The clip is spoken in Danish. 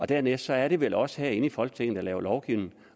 dernæst er det vel os herinde i folketinget der laver lovgivning